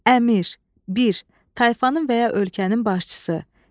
Əmir, bir, tayfanın və ya ölkənin başçısı.